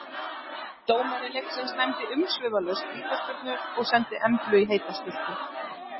Dómari leiksins dæmdi umsvifalaust vítaspyrnu og sendi Emblu í heita sturtu.